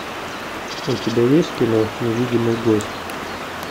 у тебя есть кино невидимый гость